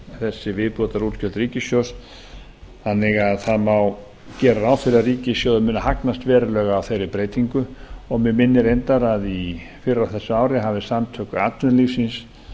þessi viðbótarútgjöld ríkissjóðs þannig að það má gera ráð fyrir að ríkissjóður muni hagnast verulega á þeirri breytingu og mig minnir reyndar að fyrr á þessu ári hafi samtök atvinnulífsins